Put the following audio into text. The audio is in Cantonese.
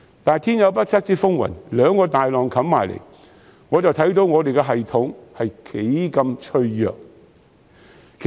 但是，天有不測之風雲，兩個大浪湧至，大家都看到我們的系統是多麼的脆弱。